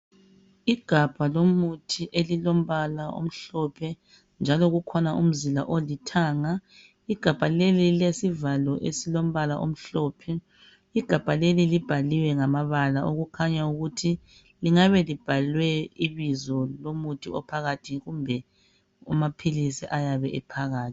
Igabha lomuthi elilombala omhlophe njalo kukhona umzila olithanga igabha leli lilesivalo esilombala omhlophe igabha leli libhaliwe ngamabala okukhanya ukuthi lingabe libhalwe ibizo lomuthi ophakathi kumbe amaphilizi ayabe ephakathi.